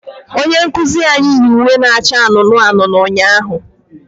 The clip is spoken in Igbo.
Onye nkuzi ahụ yi uwe na-acha anụnụ anụnụ ụnyaahụ